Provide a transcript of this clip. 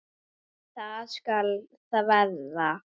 En það skal þvera.